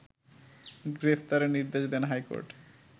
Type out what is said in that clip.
গ্রেপ্তারের নির্দেশ দেন হাইকোর্ট